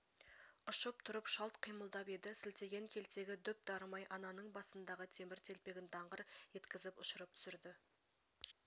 ұшып тұрып шалт қимылдап еді сілтеген келтегі дөп дарымай ананың басындағы темір телпегін даңғыр еткізіп ұшырып түсірді